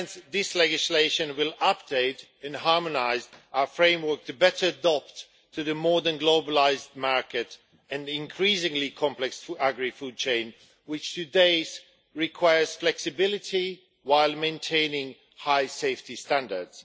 This legislation will update and harmonise our framework to better adapt to the more than globalised market and increasingly complex agri-food chain, which today requires flexibility while maintaining high safety standards.